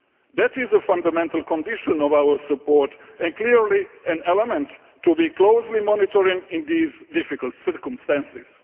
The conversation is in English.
That is a fundamental condition of our support and clearly an element to be closely monitored in these difficult circumstances.